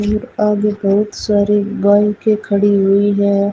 भीड़ आगे बहुत सारी बाईकें खड़ी हुई है।